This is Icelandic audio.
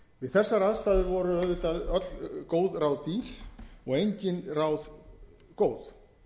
við þessar aðstæður voru auðvitað öll góð ráð dýr og engin ráð góð